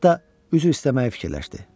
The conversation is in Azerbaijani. Hətta üzr istəməyi fikirləşdi.